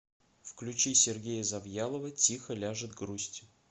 включи сергея завьялова тихо ляжет грусть